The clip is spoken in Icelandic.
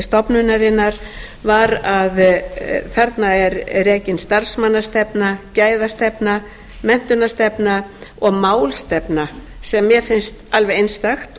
stofnunarinnar var að þarna er rekin starfsmannastefna gæðastefna menntunarstefna og málstefna sem mér finnst alveg einstakt